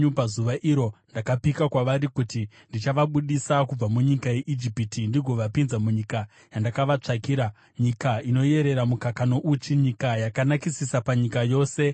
Pazuva iro ndakapika kwavari kuti ndichavabudisa kubva munyika yeIjipiti ndigovapinza munyika yandakavatsvakira, nyika inoyerera mukaka nouchi, nyika yakanakisisa panyika dzose.